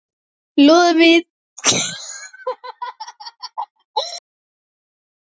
Lúðvík ætlað að bjarga honum.